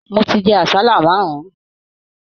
Mò tí jẹ àsálà márùn.